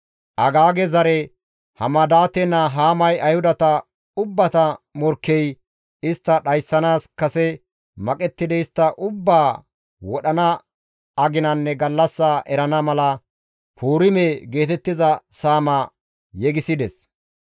Agaage zare Hamadaate naa Haamay Ayhudata ubbata morkkey istta dhayssanaas kase maqettidi istta ubbaa wodhana aginanne gallassa erana mala, «Puurime» geetettiza saama yegisides.